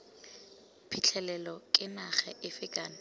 phitlhelelo ke naga efe kana